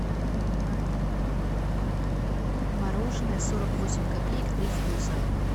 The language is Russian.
мороженое сорок восемь копеек три вкуса